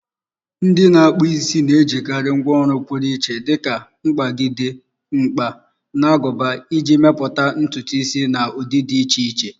Ndị na-akpụ isi na-ejikarị ngwá ọrụ pụrụ iche dika mkpagide, mkpa, na aguba iji mepụta ntutu isi na ụdị dị iche iche.